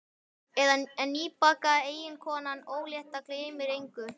En nýbakaða eiginkonan ólétta gleymir engu.